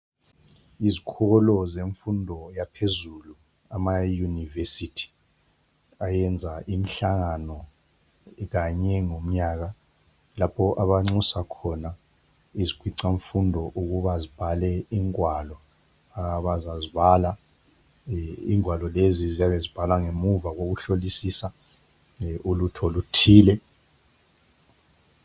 Yizikolo zemfundo yaphezulu ama university ayenza imhlangano kanye ngomnyaka lapho abanxusa khona izikhwicamfundo ukuba zibhale ingwalo abazazibala ingwalo lezi ziyabe zibhalwa ngemuva kokuhlolisisa ulutho oluthile.